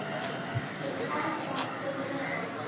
Ég elska þig heitar.